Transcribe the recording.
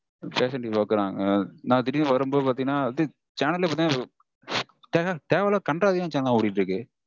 fashionTV பாக்கறாங்க. நா திடீர்னு வரும்போது பாத்தீங்கனா channel லே பாத்தீங்கனா தேவையில்லாத கண்ட்றாவியான channel லாம் ஓடிட்டிருக்கு